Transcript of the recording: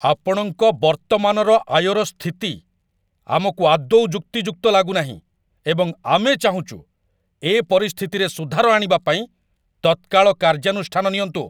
ଆପଣଙ୍କ ବର୍ତ୍ତମାନର ଆୟର ସ୍ଥିତି ଆମକୁ ଆଦୌ ଯୁକ୍ତିଯୁକ୍ତ ଲାଗୁନାହିଁ ଏବଂ ଆମେ ଚାହୁଁଛୁ ଏ ପରିସ୍ଥିତିରେ ସୁଧାର ଆଣିବା ପାଇଁ ତତ୍କାଳ କାର୍ଯ୍ୟାନୁଷ୍ଠାନ ନିଅନ୍ତୁ।